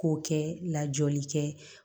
K'o kɛ lajɔli kɛ